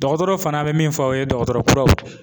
Dɔgɔtɔrɔw fana be min fɔ a ye dɔgɔtɔrɔ kuraw.